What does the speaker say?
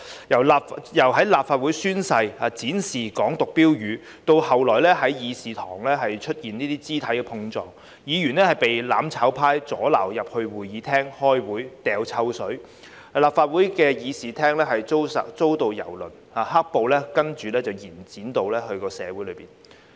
由立法會宣誓展示"港獨"標語，到後來議事堂出現肢體碰撞、議員被"攬炒派"阻撓進入會議廳開會、潑臭水、立法會議事廳遭到蹂躪，接着"黑暴"延展至社區。